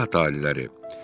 Zat aliləri.